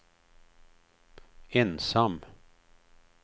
ensam